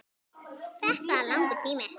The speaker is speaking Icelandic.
Þetta er langur tími.